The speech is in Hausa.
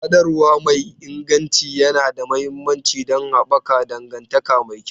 Sadarwa mai inganci yana da mahimmanci don haɓaka dangantaka mai kyau.